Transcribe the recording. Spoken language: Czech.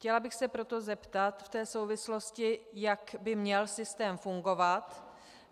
Chtěla bych se proto zeptat v této souvislosti, jak by měl systém fungovat.